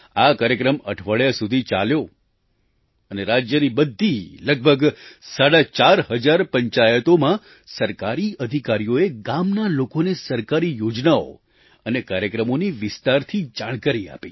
આ કાર્યક્રમ અઠવાડિયા સુધી ચાલ્યો અને રાજ્યની બધી લગભગ સાડા ચાર હજાર પંચાયતોમાં સરકારી અધિકારીઓએ ગામના લોકોને સરકારી યોજનાઓ અને કાર્યક્રમોની વિસ્તારથી જાણકારી આપી